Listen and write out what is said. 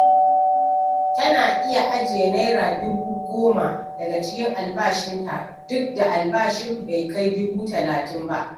Tana iya ajiye Naira dubu goma daga cikin albashinta, duk da albashin bai kai dubu talatin ba.